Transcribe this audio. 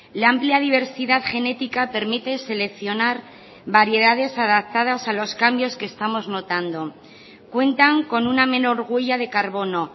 la amplia diversidad genética permite seleccionar variedades adaptadas a los cambios que estamos notando cuentan con una menor huella de carbono